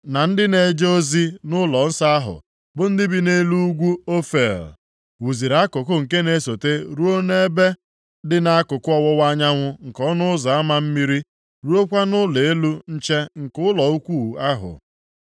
na ndị na-eje ozi nʼụlọnsọ ahụ bụ ndị bi nʼelu ugwu Ofel, wuziri akụkụ nke na-esote ruo nʼebe dị nʼakụkụ ọwụwa anyanwụ nke Ọnụ Ụzọ Ama Mmiri, ruokwa nʼụlọ elu nche nke ụlọ ukwu ahụ.